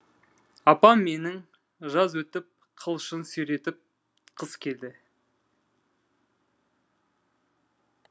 апам менің жаз өтіп қылышын сүйретіп қыс келді